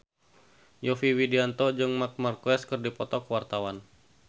Yovie Widianto jeung Marc Marquez keur dipoto ku wartawan